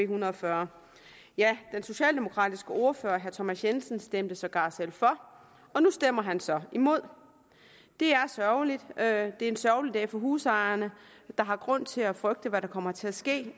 hundrede og fyrre ja den socialdemokratiske ordfører herre thomas jensen stemte sågar selv for og nu stemmer han så imod det er sørgerligt er en sørgelig dag for husejerne der har grund til at frygte hvad der kommer til at ske